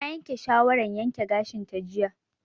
Ta yanke shawaran yanke gashin ta jiya